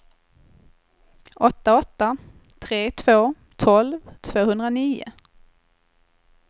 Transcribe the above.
åtta åtta tre två tolv tvåhundranio